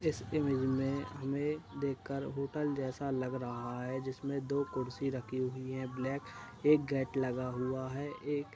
इस इमेज में हमें देखकर होटल जैसा लग रहा है जिसमें दो कुर्सी रखी हुई हैं। ब्लैक एक गेट लगा हुआ है। एक --